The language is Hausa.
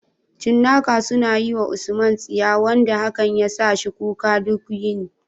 Cinnaka sun yi wa USMAN tsiya wanda hakan ya sa shi kuka duk yini.